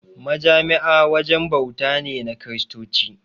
Majami'a wajen bauta ne na Kiristoci.